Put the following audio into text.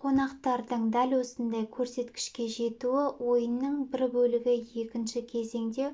қонақтардың дәл осындай көрсеткішке жетуі ойынның бір бөлігі екінші кезеңде